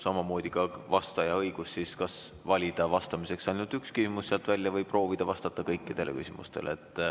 Samamoodi on vastajal õigus valida vastamiseks sealt ainult üks küsimus või proovida vastata kõikidele küsimustele.